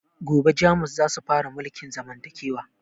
Gobe jamus zasu fara mulkin zamantakewa